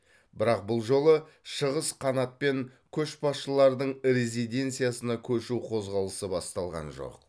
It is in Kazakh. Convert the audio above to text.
бірақ бұл жолы шығыс қанат пен көшбасшылардың резиденциясына көшу қозғалысы басталған жоқ